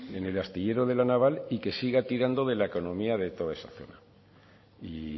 en el astillero de la naval y que siga tirando de la economía de toda esa zona y